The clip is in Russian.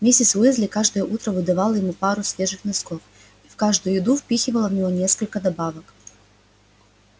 миссис уизли каждое утро выдавала ему пару свежих носков и в каждую еду впихивала в него несколько добавок